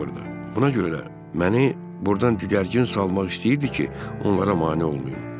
Buna görə də məni burdan digərgin salmaq istəyirdi ki, onlara mane olmayım.